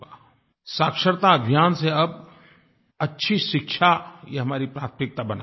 साक्षरता अभियान से अब अच्छी शिक्षा ये हमारी प्राथमिकता बनानी पड़ेगी